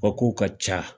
O kow ka ca